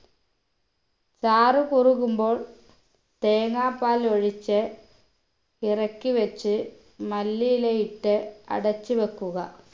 ചാറ് കുറുകുമ്പോൾ തേങ്ങാപാൽ ഒഴിച്ച് ഇറക്കി വെച്ച് മല്ലിയിലയിട്ട് അടച്ചു വെക്കുക